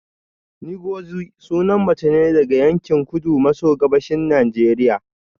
Ngozi sunan mace ne daga yankin kudu maso gabashin Najeriya